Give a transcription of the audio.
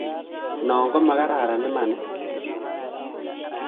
Non komakaran, imanis?